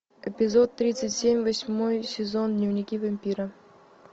эпизод тридцать семь восьмой сезон дневники вампира